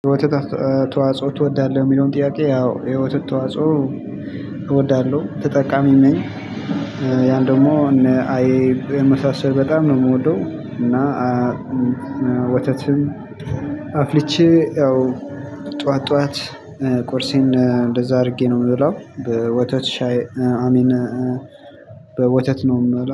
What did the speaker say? የወተት ተዋጽኦች እወዳለሁ? የሚለውን ጥያቄ አዎ ህይወትን ተዋጽኦ እወዳለሁ ተጠቃሚም ነኝ። ያን ደግሞ እነ አይብ የመሳሰሉ በጣም ነው የምወደው እና ወተትም አፍልቼ ያው ጠዋት ጠዋት ቁርሴን እንደዛ አድርጌ ነው የምበላው በወተት ሻይ አሚን በወተት ነው